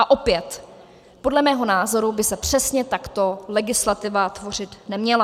A opět, podle mého názoru by se přesně takto legislativa tvořit neměla.